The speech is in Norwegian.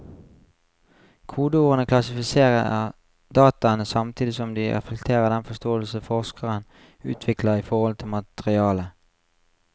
Kodeordene klassifiserer dataene samtidig som de reflekterer den forståelsen forskeren utvikler i forhold til materialet.